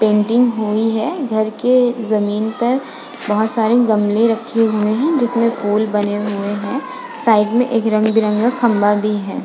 Painting हुई है। घर के जमीन पर बहोत सारे गमले रखे हुए हैं जिसमें फूल बने हुए हैं। साइड में एक रंग-बिरंगा खम्बा भी है।